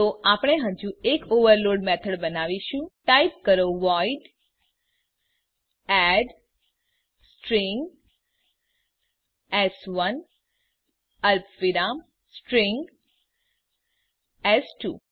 તો આપણે હજુ એક ઓવરલોડ મેથોડ બનાવીશું ટાઈપ કરો વોઇડ એડ સ્ટ્રીંગ એસ1 અલ્પવિરામ સ્ટ્રીંગ એસ2